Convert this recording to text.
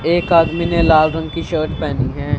एक आदमी ने लाल रंग की शर्ट पहनी है।